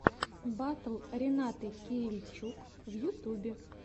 батл ренаты кирильчук в ютюбе